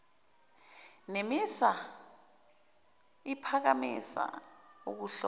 nemisa iphakamisa ukuhlomisa